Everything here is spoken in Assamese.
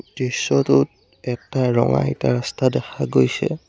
দৃশ্যটোত এটা ৰঙা ইটাৰ ৰাস্তা দেখা গৈছে।